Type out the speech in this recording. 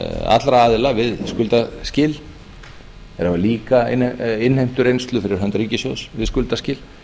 allra aðila við skuldaskil og hafa líka innheimtureynslu fyrir hönd ríkissjóðs við skuldaskil